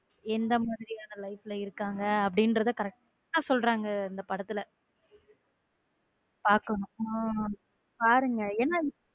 எந்த மாதிரியான life ல இருக்காங்க அப்படிங்கிறத correct டா சொல்றாங்க அந்த படத்து பாக்கணும் உம் பாருங்க என.